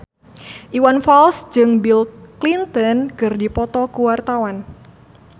Iwan Fals jeung Bill Clinton keur dipoto ku wartawan